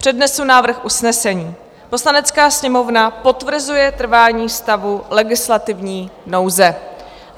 Přednesu návrh usnesení: "Poslanecká sněmovna potvrzuje trvání stavu legislativní nouze."